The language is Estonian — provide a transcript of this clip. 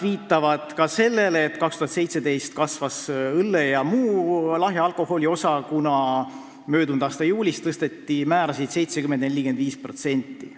Viidatakse ka sellele, et aastal 2017 kasvas õlle ja muu lahja alkoholi osa, kuna möödunud aasta juulis tõsteti aktsiisimäärasid 70% ja 45%.